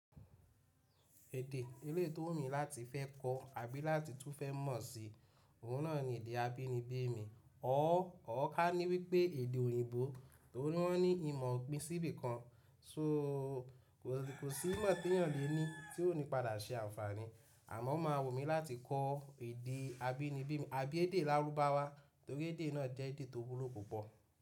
Èdè eléyi tó wù mi láti fẹ́ kọ́ àbí láti tún fẹ́ mọ̀ sí, òun náà ni èdè abínibí mi. Or kání wípé èdè òyìnbó, torí wọ́n ní ìmọ̀ ò pín síbì kan so kò sí ìmọ̀ tí èèyàn lè ní tí ò ní padà ṣe àǹfààní. Àmọ́ o máa wù mí láti kọ́ èdè abínibí mi àbí èdè lárúbáwá torí èdè náà jẹ́ èdè tó wúlò púpọ̀.